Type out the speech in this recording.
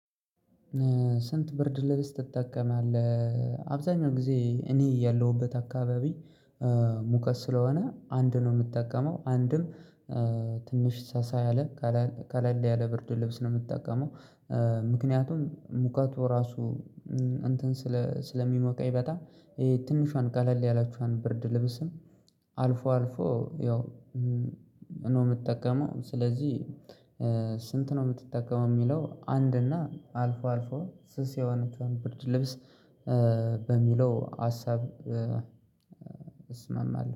ስንት ብርድ ልብስ ትጠቀማለህ አብዛኛው ጊዜ እኔ ያለሁበት አካባቢ ሙቀት ስለሆነ አንድ ነው የምጠቀመው አንድም ትንሽ ሳሳ ያለ ቀለል ያለ ብርድ ልብስ ነው የምትጠቀመው ምክንያቱም ሙቀቱ ራሱ እንትን ስለ ስለሚሞቀኝ በጣም ትንሿን ቀለል ያለችዋን ብርድ ልብስም አልፎ አልፎ ያው የምጠቀመው ስለዚህ ስንት ነው የምትጠቀመው? የሚለው አንድ እና አልፎ አልፎ ስስ የሆነችውን ብርድ ልብስ በሚለው ሀሳብ እስማማለሁ